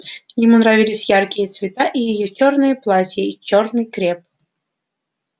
ему нравились яркие цвета и её чёрные платья и чёрный креп